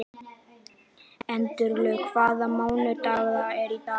Gæflaug, hvaða mánaðardagur er í dag?